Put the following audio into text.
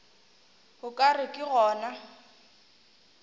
o ka re ke gona